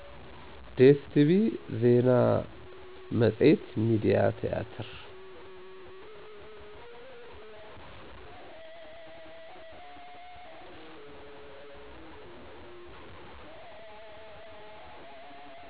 ደሰቲቪ፣ ዜና መፀየት፣ ሚዲያ ቲያትር